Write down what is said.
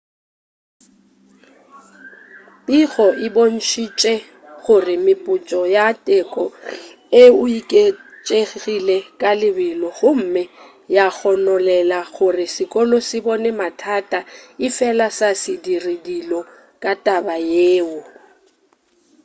pego e bontšitše gore mephutso ya teko e oketšegile ka lebelo gomme ya gononela gore sekolo se bone mathata efela sa se dire delo ka taba yeo